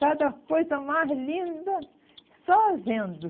Cada coisa mais linda, só vendo.